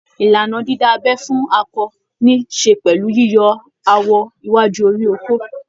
Ìlànà dídá abẹ́ fún akọ ní ṣe pẹ̀lú yíyọ awọ iwájú orí okó